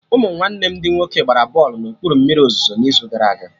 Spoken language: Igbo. Ụmụ nwanne m ndị nwoke gbara bọlụ na okpuru mmiri ozuzo n'izu gara aga